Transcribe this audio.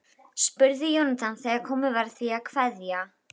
spurði Jónatan þegar komið var að því að kveðja.